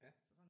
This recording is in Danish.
Ja